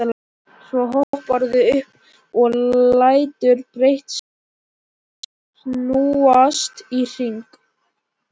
Svo hopparðu upp og lætur brettið snúast í hring.